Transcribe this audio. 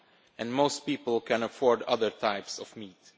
and most people can afford other types of meat.